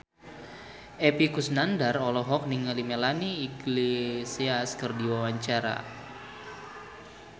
Epy Kusnandar olohok ningali Melanie Iglesias keur diwawancara